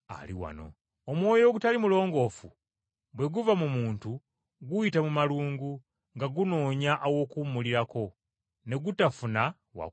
“Omwoyo ogutali mulongoofu bwe guva mu muntu guyita mu malungu nga gunoonya aw’okuwumulirako, ne gutafuna wa kuwummulira.